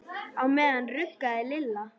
Á meðan ruggaði Lilla